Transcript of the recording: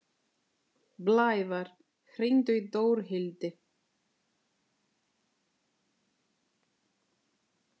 Blævar, hringdu í Dórhildi.